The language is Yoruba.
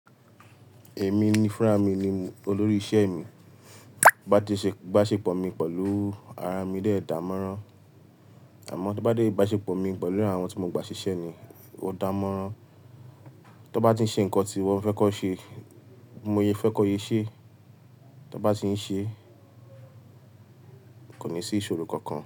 Èmi ni fúnra mi ni olórí iṣẹ́ mi, bá ti ṣe ìbáṣepọ̀ mi pẹ̀lú ara mi dé dán mọ́rán, àmọ́ tí ó bá dé ìbáṣepọ̀ mi pẹ̀lú àwọn tí mo gba ṣiṣẹ́ ni ó dán mọ́rán. Tí ó bá ti ń ṣe nǹkan tí mo fẹ́ kan ṣe, ti mo fẹ́ kan sé ṣẹ́, tí ó bá ti ń ṣe, kò ní sí ìṣòro kankan.